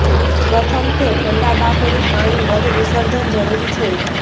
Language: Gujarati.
પ્રથમ તે ઠંડા બાફેલી પાણી મધ વિસર્જન જરૂરી છે